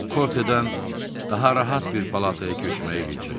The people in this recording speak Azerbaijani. O Kortedən daha rahat bir palataya köçməyi rica etdi.